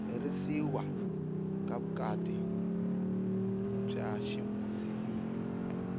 herisiwa ka vukati bya ximuzilimi